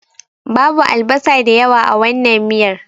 Babu albasa da yawa a wannan miyar.